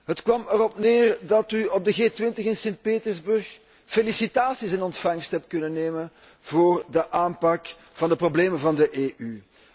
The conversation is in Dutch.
Het kwam erop neer dat u op de G20 in St. Petersburg felicitaties in ontvangst heeft kunnen nemen voor de aanpak van de problemen van de EU.